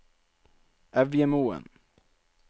Evjemoen